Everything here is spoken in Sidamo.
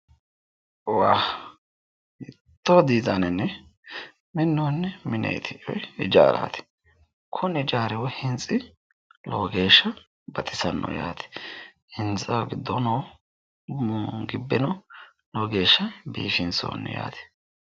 Waa! hiittoo diizaanenni minnoonni mineeti woyi hijaaraati! kuni hijaari woyi hintsi lowo geeshsha baxisanno yaate. hintsaho giddoono gibbeno lowo geeshsha biifinsoonni yaate.